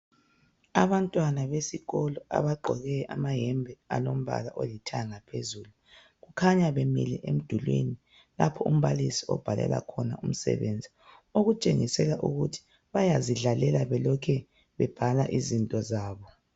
Abantwana besikolo abagqoke amayembe alompala olithanda phezulu kukhanya bemile emdulwini lapha umbalisi abhalela khona umsebenzi okutshengisela ukuthi bayazidlalela belokhe bebhala izinto zabo.